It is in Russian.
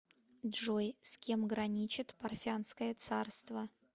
джой с кем граничит парфянское царство